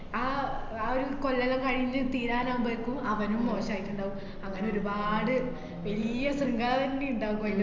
ആ ആഹ് ആ ഒരു കൊല്ലെല്ലാം കയിഞ്ഞ് തീരാനാവുമ്പേക്കും അവനും മോശായിട്ട്ണ്ടാവും. അങ്ങനൊരുപാട് വല്യ ശൃംഖാലന്നെ ഇണ്ടാവും കൊ~